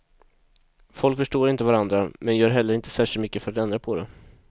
Folk förstår inte varandra, men gör heller inte särskilt mycket för att ändra på det heller.